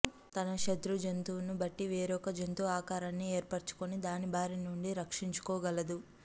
తన శతృ జంతువును బట్టి వేరొక జంతు ఆకారాన్ని యేర్పరచుకొని దానిబారినుండి రక్షించుకోగలదు